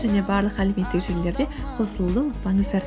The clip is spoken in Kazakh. және барлық әлеуметтік желілерде қосылуды ұмытпаңыздар